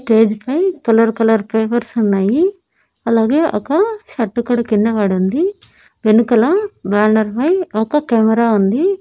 Stage పై colour colour papers ఉన్నాయి అలాగే ఒక షర్టు కూడా కింద పడి ఉంది వెనుకల బ్యానర్ పై ఒక కెమెరా ఉంది.